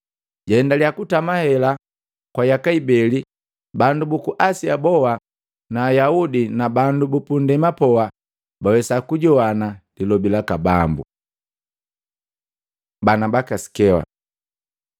Jaendaliya kutenda hela kwa yaka ibeli bandu buku Asia boha na Ayaudi na bandu bupundema poha, bawesa kujowana lilobi laka Bambu. Bana baka Sikewa